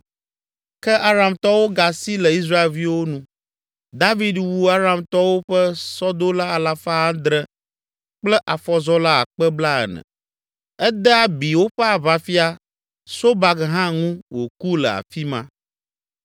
Ke Aramtɔwo gasi le Israelviwo nu. David wu Aramtɔwo ƒe sɔdola alafa adre (700) kple afɔzɔla akpe blaene (40,000). Ede abi woƒe aʋafia, Sobak hã ŋu wòku le afi ma.